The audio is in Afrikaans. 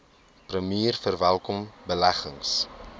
premier verwelkom beleggings